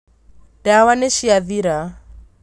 Ndawa nĩciathira